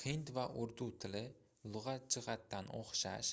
hind va urdu tili lugʻat jihatidan oʻxshash